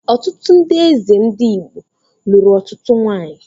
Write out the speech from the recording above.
Ọtụtụ ndị eze ndị Igbo lụrụ ọtụtụ nwanyị